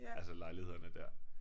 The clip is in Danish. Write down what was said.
Altså lejlighederne dér